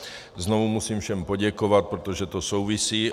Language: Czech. Znovu musím všem poděkovat, protože to souvisí.